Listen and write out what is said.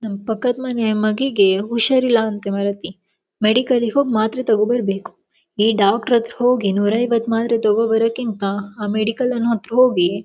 ನಮ್ಮ ಪಕ್ಕದ ಮನೆ ಅಮ್ಮಗಿಗೆ ಹುಷಾರಿಲ್ಲಾ ಮಾರಯತಿ ಮೆಡಿಕಲ್ ಹೋಗಿ ಮಾತ್ರೆ ತೋಕೋಬರಬೇಕು ಈ ಡಾಕ್ಟರ್ ಹತ್ರ ಹೋಗಿ ನೂರಇವತ್ತು ಮಾತ್ರೆ ತೋಕೋಬರೋಕ್ಕಿಂತ ಆ ಮೆಡಿಕಲ್ ಅನ್ನು ಹತ್ರ ಹೋಗಿ--